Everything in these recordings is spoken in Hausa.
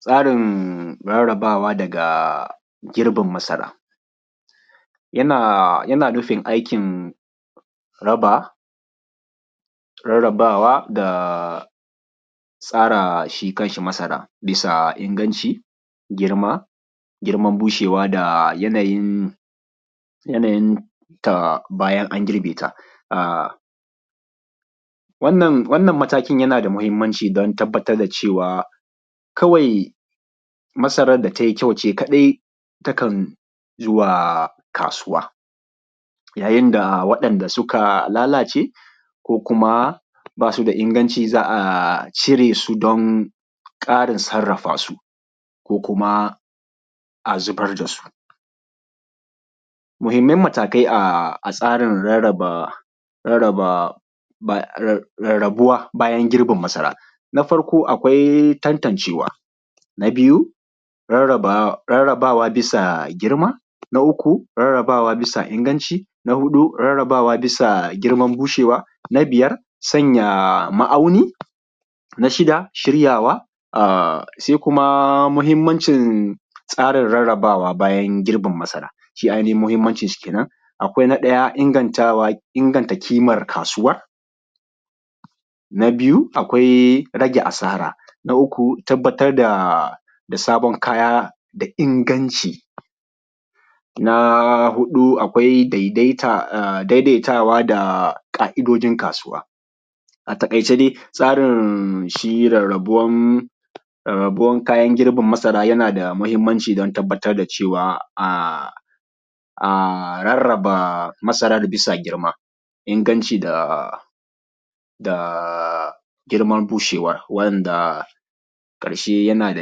Tsarin rarrabawa daga girbin masara. Yana nufin aikin raba, rarrabawa da tsara shi kan shi masaran bisa inganci, girman bushewa da yanayin ta bayan an girbe ta. Wannan matakin yana da muhimmanci don tabbatar da cewa kawai masaran da tai kyau ce kaɗai takan zuwa kasuwa. Yayin da waɗanda suka lalace, ko kuma ba su da inganci za a cire su don ƙarin sarrafa su ko kuma a zubar da su. Muhimman matakai a tsarin rarraba, rarrabuwa bayan girbin masara. Na farko akwai tantancewa, na biyu rarrabawa bisa girma, na uku rarrabawa bisa inganci, na huɗu rarrabawa bisa girman bushewa, na biyar sanya ma’auni, na shida shiryawa. Sai kuma muhimmancin tsarin rarrabawa bayan girbin masara shi ainihin muhimmancinsa kenan. Akwai na ɗaya ingantawa, inganta ƙimar kasuwar, na biyu akwai rage asara, na uku akwai tabbatar da sabon kaya da inganci. Na huɗu akwai daidaitawa da ƙa’idojin kasuwa. A taƙaice dai tsarin shi rarrabuwan kayan girbin masara yana da muhimmanci don tabbatar da cewa a rarraba masara bisa girma, inganci da girman bushewan. Daga ƙarshe yana da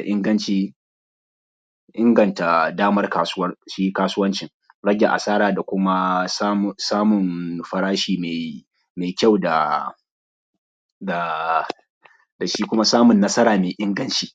inganci, inganta damar kasuwar, shi kasuwancin, rage asara da kuma samun farashi mai kyau da shi kuma samun nsara mai inganci.